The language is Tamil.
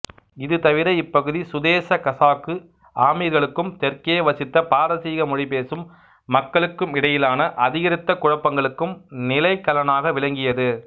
இதுதவிர இப்பகுதி சுதேச கசாக்கு ஆமிர்களுக்கும் தெற்கே வசித்த பாரசீக மொழி பேசும் மக்களுக்குமிடையிலான அதிகரித்த குழப்பங்களுக்கும் நிலைக்களனாக விளங்கியது